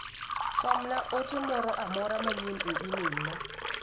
som na ote moro amora manyien e imel na.